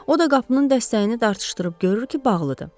O da qapının dəstəyini dartışdırıb görür ki, bağlıdır.